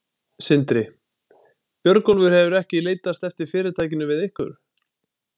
Sindri: Björgólfur hefur ekki leitast eftir fyrirtækinu við ykkur?